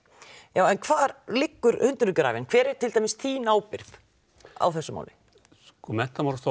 en hvar liggur hundurinn grafinn hver er til dæmis þín ábyrgð á þessu máli sko Menntamálastofnun